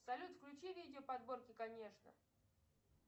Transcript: салют включи видео подборки конечно